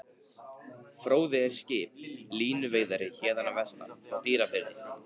Fróði er skip, línuveiðari héðan að vestan, frá Dýrafirði.